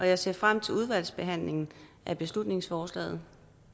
jeg ser frem til udvalgsbehandlingen af beslutningsforslaget